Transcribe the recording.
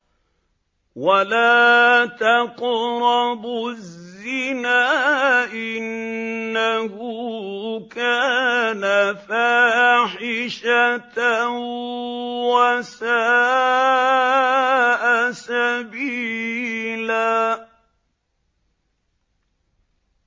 وَلَا تَقْرَبُوا الزِّنَا ۖ إِنَّهُ كَانَ فَاحِشَةً وَسَاءَ سَبِيلًا